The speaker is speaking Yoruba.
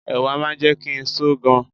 Ẹ̀wà máa ń jẹ́ kí n só gan.